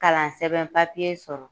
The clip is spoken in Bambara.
Kalansɛbɛn papiye sɔrɔ